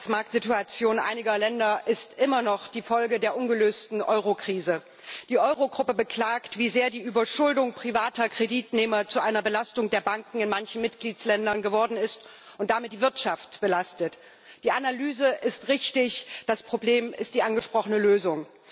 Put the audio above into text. Frau Präsidentin! Die katastrophale Arbeitsmarktsituation einiger Länder ist immer noch Folge der ungelösten Eurokrise. Die Eurogruppe beklagt, wie sehr die Überschuldung privater Kreditnehmer zu einer Belastung der Banken in manchen Mitgliedsländern geworden ist und damit die Wirtschaft belastet. Die Analyse ist richtig, das Problem ist die angesprochene Lösung.